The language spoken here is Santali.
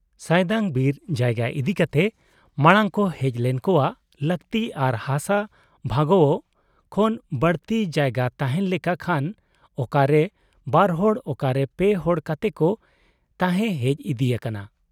ᱥᱟᱭᱫᱟᱝ ᱵᱤᱨ ᱡᱟᱭᱜᱟ ᱤᱫᱤ ᱠᱟᱛᱮ ᱢᱟᱬᱟᱝ ᱠᱚ ᱦᱮᱡᱞᱮᱱ ᱠᱚᱣᱟᱜ ᱞᱟᱹᱠᱛᱤ ᱟᱨ ᱦᱟᱥᱟ ᱵᱷᱟᱜᱟᱣᱜ ᱠᱷᱚᱱ ᱵᱟᱲᱛᱤ ᱡᱟᱭᱜᱟ ᱛᱟᱦᱮᱸᱱ ᱞᱮᱠᱟ ᱠᱷᱟᱱ ᱚᱠᱟ ᱨᱮ ᱵᱟᱨᱦᱚᱲ ,ᱚᱠᱟᱨᱮ ᱯᱮ ᱦᱚ ᱠᱟᱛᱮ ᱠᱚ ᱛᱟᱦᱮᱸ ᱦᱮᱡ ᱤᱫᱤ ᱟᱠᱟᱱᱟ ᱾